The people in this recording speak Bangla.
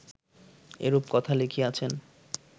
এরূপ কথা লিখিয়াছেন